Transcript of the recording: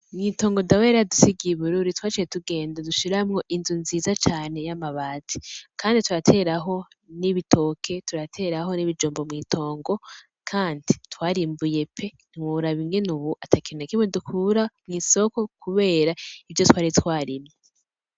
Mw'itongo Dawe yar'iyaradusigiye i Bururi twaciye tugenda durashiramwo inzu nziza cane y'amabati, kandi turateraho n'ibitoke, turateraho n'ibijumbu mw'itongo, kandi twarimbuye pe! Ntiworaba ubu ukuntu atakintu na kimwe dukura mw'isoko kubera ivyo twari twarimye.